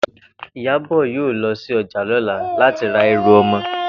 Ìyábò̩ yóò lo̩ sí o̩jà ló̩la láti ra e̩rù o̩mo̩